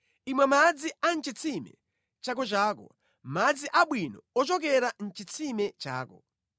Imwa madzi a mʼchitsime chakochako, madzi abwino ochokera mʼchitsime chako.